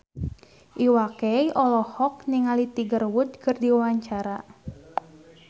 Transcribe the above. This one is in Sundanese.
Iwa K olohok ningali Tiger Wood keur diwawancara